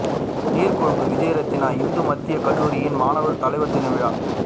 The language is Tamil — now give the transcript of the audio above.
நீர்கொழும்பு விஜயரத்தினம் இந்து மத்திய கல்லூரியின் மாணவர் தலைவர் தின விழா